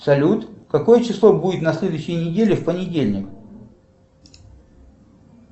салют какое число будет на следующей неделе в понедельник